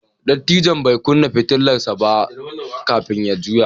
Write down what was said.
Dattijon bai kunna fitilar sa ba kafin ya juya.